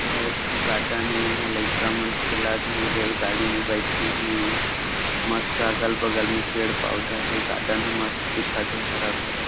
यह एक ठो गार्डन ए इंहा लइका मन खेलत हे रेलगाड़ी में बैठे है मस्त अगल-बगल में पेड़-पौधा हे गार्डन ह मस्त दिखत है हरा-भरा--